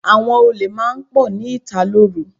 Àwọn olè máa ń pọ̀ ní ìta lóru.